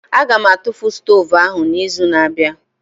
Aga m atụfu stovu ahụ n'izu na-abịa